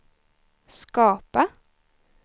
skapa